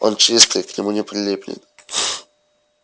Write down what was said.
он чистый к нему не прилипнет